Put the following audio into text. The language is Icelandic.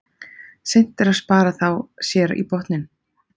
Seint er að spara þá sér í botninn.